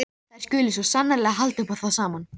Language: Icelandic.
Þær skuli sko sannarlega halda upp á það saman.